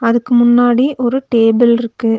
இதுக்கு முன்னாடி ஒரு டேபிள்ருக்கு .